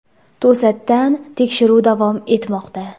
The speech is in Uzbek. To‘satdan tekshiruv davom etmoqda.